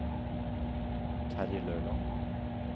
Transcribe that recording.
Terje Løland